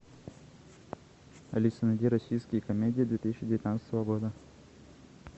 алиса найди российские комедии две тысячи девятнадцатого года